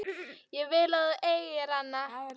Ég vil að þú eigir hana.